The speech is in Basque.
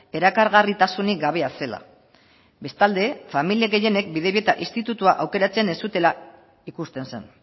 erakargarritasunik gabea zela bestalde familia gehienek bidebieta institutua aukeratzen ez zutela ikusten zen